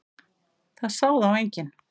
Það sá þá enginn.